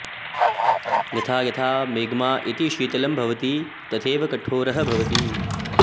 यथा यथा मैग्मा इति शीतलं भवति तथैव कठोरः भवति